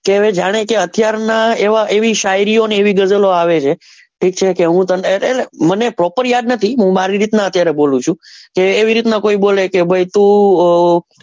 કે હવે જાણે કે અત્યાર ના હવે એવી શાયરી ઓ ને એવી ગઝલ ઓ આવે છે ઠીક છે કે હું તને એટલે મને proper યાદ નથી હું મારી રીત નાં અત્યારે બોલું છું કે એવી રીત નાં કોઈ બોલે કે ભાઈ તું મારી,